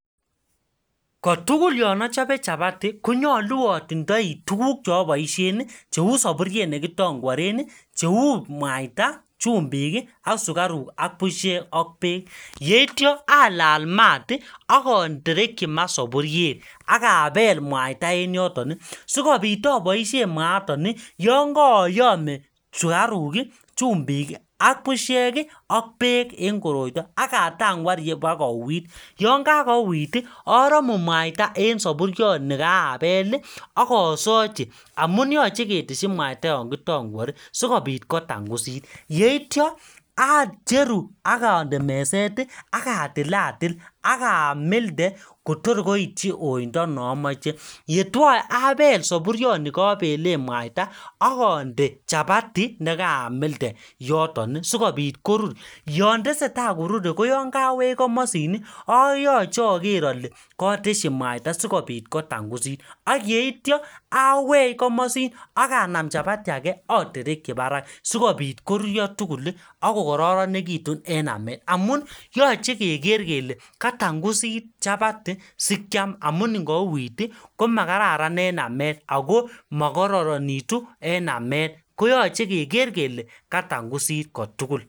Kotugul yon achope chapati konyalu atindoi tuguk cheaboisien, cheu saburiet nekitangworen, cheu mwaita, chumbik ak sukaruk ak busiek ak beek. Yeityo alal mat ak aterekyi ma saburiet ak abel mwaita en yoton sigopit aboisien mwaaton yon kayome sukaruk, chumbik ak busiek ak beek en koroito ak a tangwar ibakouit. Yon kakouit aramu mwaita en saburioni kaabel ak asochi amun yoche ketesyin mwaita, yon kitangwari sigopit kotangusit. Yeitya acheru ak ande meset ak atilatil ak amilde kotoikoityi koindo ne amoche. Yetyoe abel saburionikabelen mwaita ak ande chapati ne kaamilde yoton sigopit korur. Yon teseta korure ko yon kawech komosin yoche ager ale katesyi mwaita sigopit kotangusit ak yeitya awech komosin ak anam chapati age aterkyi barak sigopit korurio tugul ak kokaroronegitu en amet amun yoche keger kele katangusit chapati sikiam amun ingouit komakararan en amet ago makararanitu en amet koyoche keger kele katangusit kotugul.